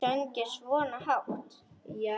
Söng ég svona hátt?